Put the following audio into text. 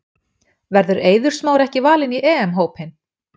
Verður Eiður Smári ekki valinn í EM hópinn?